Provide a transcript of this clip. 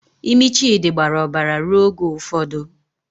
Imi Chidi gbara obara ruo oge ụfọdụ.